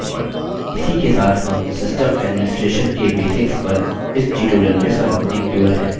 इसी के साथ हम system administration के basics पर इस tutorial में समाप्ति की ओर हैं